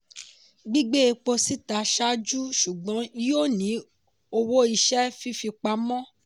gbígbé epo síta ṣáájú ṣùgbọ́n yíó ní owó iṣẹ́ fifipamọ.